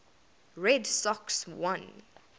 red sox won